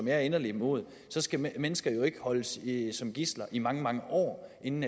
jeg er inderlig imod så skal mennesker jo ikke holdes som gidsler i mange mange år inden